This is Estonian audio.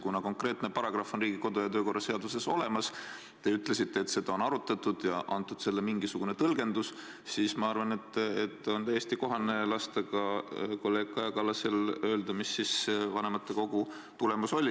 Kuna konkreetne paragrahv on Riigikogu kodu- ja töökorra seaduses olemas ning te ütlesite, et seda on arutatud ja antud sellele mingisugune tõlgendus, siis ma arvan, et on täiesti kohane lasta kolleeg Kaja Kallasel öelda, mis siis vanematekogu arutelu tulemus oli.